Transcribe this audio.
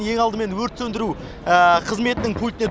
ең алдымен өрт сөндіру қызметінің пультіне